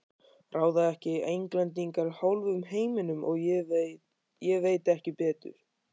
Ráða ekki Englendingar hálfum heiminum, ég veit ekki betur.